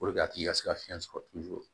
a tigi ka se ka fiɲɛ sɔrɔ